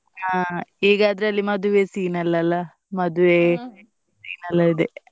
ಅಹ್ ಈಗ ಅದರಲ್ಲಿ ಮದುವೆ scene ಎಲ್ಲ ಅಲ್ಲಾ, ಮದುವೆ scene ಎಲ್ಲಾ ಇದೆ,